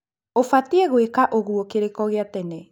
Ũbatie gwĩka ũguo kĩroko gia tene